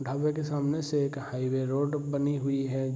ढाबे के सामने से एक हाईवे रोड बनी हुई है।